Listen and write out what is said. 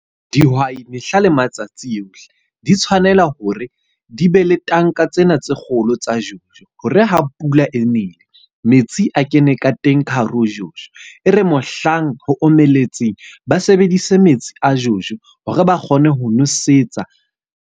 Dihwai mehla le matsatsi ohle, di tshwanela hore di be le tanka tsena tse kgolo tsa Jojo. Hore ha pula e nele, metsi a kene ka teng ka hare ho Jojo. E re mohlang ho omelletseng, ba sebedise metsi a Jojo hore ba kgone ho nosetsa.